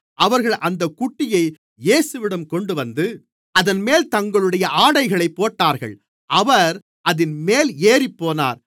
அவர்கள் அந்தக் குட்டியை இயேசுவிடம் கொண்டுவந்து அதன்மேல் தங்களுடைய ஆடைகளைப் போட்டார்கள் அவர் அதின்மேல் ஏறிப்போனார்